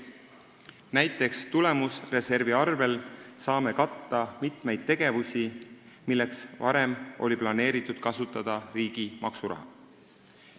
Näiteks saame tulemusreservist katta mitmeid tegevusi, milleks varem oli planeeritud kasutada riigi maksuraha.